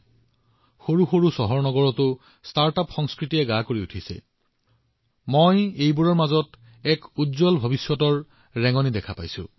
আজি সৰু সৰু চহৰবোৰতো ষ্টাৰ্টআপৰ সংস্কৃতি বিস্তাৰিত হৈছে আৰু মই সেইবোৰত এক উজ্জ্বল ভৱিষ্যতৰ লক্ষণ দেখিছো